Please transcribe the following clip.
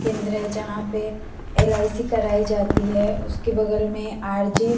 केंद्रे है झ पे एल.ई.सी. कराई जाती है उसके बगल में अर.जे. --